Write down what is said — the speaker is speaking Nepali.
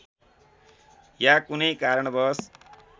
या कुनै कारणवश